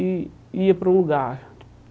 e ia para um lugar.